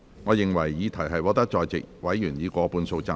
我認為議題獲得在席委員以過半數贊成。